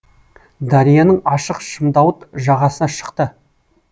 дарияның ашық шымдауыт жағасына шықты